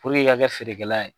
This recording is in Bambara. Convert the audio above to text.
i ka kɛ feerekɛla ye.